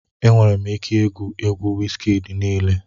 Enwere m ike igwu egwu Wizkid niile